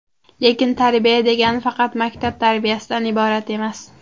Lekin tarbiya degani faqat maktab tarbiyasidan iborat emas.